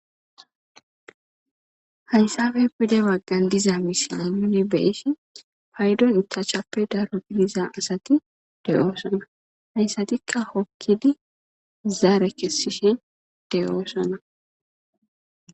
Hayssafe pide waggan diza misile nuni beeshi paydon itachappe daro gidiza asati de'oosona hayssatikka hokkidi zaare kessishe deyoosona.